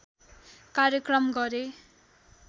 कार्यक्रम गरे